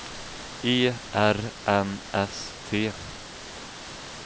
E R N S T